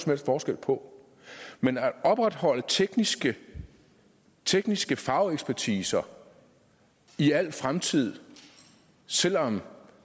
helst forskel på men at opretholde teknisk teknisk fagekspertise i al fremtid selv om